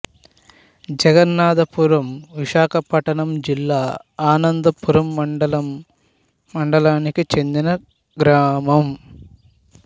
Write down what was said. జగన్నాధపురం విశాఖపట్నం జిల్లా ఆనందపురం మండలం మండలానికి చెందిన గ్రామం